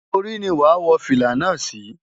Orí ni wàá wọ fìlà náà sí.